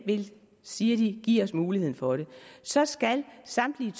siger de giver os mulighed for så skal samtlige